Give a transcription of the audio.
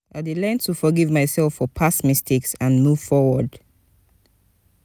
i dey learn to forgive myself for past mistakes and move forward.